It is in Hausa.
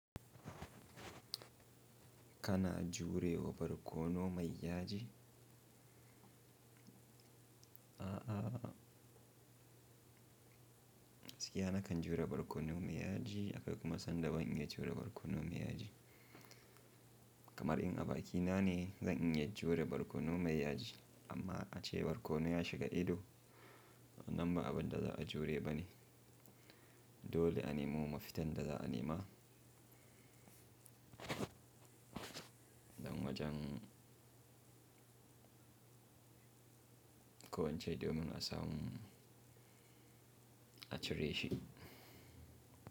Kana jurewa barkono mai yaji? A'a, gaskiya nakan jure barkono mai yaji da kuma san da ban iya jure barkono mai yaji. Kamar in a bakina ne, zan iya jure barkono mai yaji amma ace barkono ya shiga ido, nan ba abun da za a jure ba ne. Dole a nemo mafitan da za a nema don wajen ko wacce ido mun asa mun a cire shi.